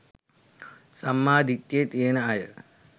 සම්මා දිට්ඨිය තියෙන අය